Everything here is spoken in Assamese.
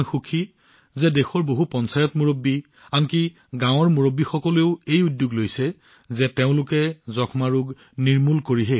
মই সুখী যে দেশৰ বহু চৰপঞ্চ আনকি গাঁৱৰ মুৰব্বীসকলেও এই উদ্যোগ লৈছে যে তেওঁলোকে যক্ষ্মাক অন্ত কৰিব